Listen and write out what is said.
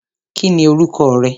Kí ni orúkọ rẹ?